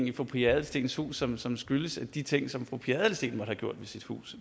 i fru pia adelsteens hus som som skyldes de ting som fru pia adelsteen måtte have gjort ved sit hus